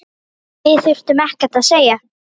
Við þurftum ekkert að segja.